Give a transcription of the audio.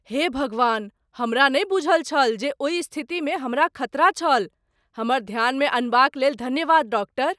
हे भगवान! हमरा नहि बूझल छल जे ओहि स्थितिमे हमरा खतरा छल। हमर ध्यानमे अनबाक लेल धन्यवाद, डॉक्टर।